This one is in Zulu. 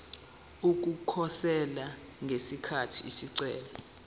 ukukhosela ngesikhathi isicelo